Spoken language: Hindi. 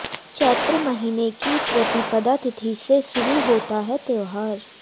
चैत्र महीने की प्रतिपदा तिथि से शुरू होता है त्योहार